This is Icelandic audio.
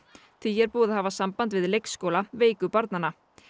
því er búið að hafa samband við leikskóla veiku barnanna